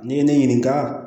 N'i ye ne ɲininka